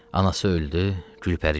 Anası öldü, Gülpəri gəldi.